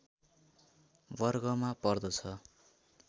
वर्गमा पर्दछ